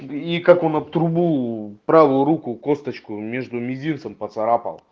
и как он об трубу правую руку косточку между мизинцем поцарапал